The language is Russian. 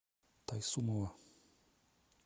тайсумова